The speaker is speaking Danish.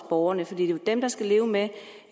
borgerne for det er jo dem der skal leve med